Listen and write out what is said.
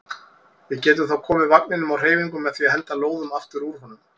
Við getum þá komið vagninum á hreyfingu með því að henda lóðum aftur úr honum.